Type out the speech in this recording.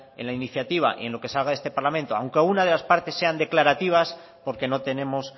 en la iniciativa y en lo que salga de este parlamento aunque alguna de las partes sean declarativas porque no tenemos